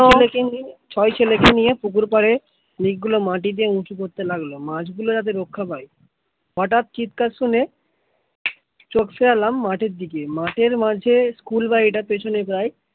, ছয় ছেলেকে নিয়ে পুকুর পারে দিক গুলো মাটি দিয়ে উচু করতে লাগলো মাছ গুলো যেন রক্ষা পায়ে হঠাৎ চিৎকার শুনে চোখ ফেরালাম মাঠের দিকে মাঠের মাঝে স্কুল বাড়িটার পেছনে প্রায়